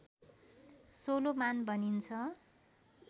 Solomon भनिन्छ